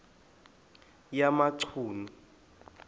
yamachunu